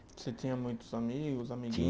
Você tinha muitos amigo